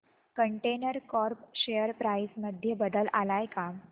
container corp share price मध्ये बदल आलाय का